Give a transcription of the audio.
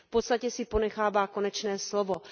V podstatě si ponechává konečné slovo.